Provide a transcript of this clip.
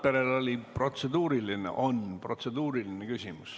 Valdo Randperel on protseduuriline küsimus.